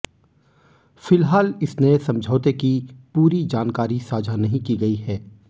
फिलहाल इस नए समझौते की पूरी जानकारी साझा नहीं की गई है